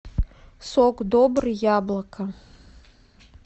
сок добрый яблоко